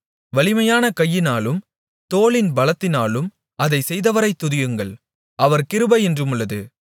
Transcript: வலிமையான கையினாலும் தோளின் பலத்தினாலும் அதைச் செய்தவரைத் துதியுங்கள் அவர் கிருபை என்றுமுள்ளது